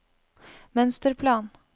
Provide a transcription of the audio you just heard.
mønsterplan